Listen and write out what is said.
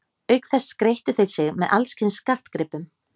Auk þess skreyttu þeir sig með alls kyns skartgripum.